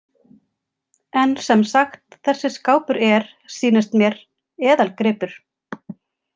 En sem sagt, þessi skápur er, sýnist mér, eðalgripur